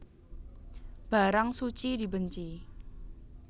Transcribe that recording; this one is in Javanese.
Barang suci dibenci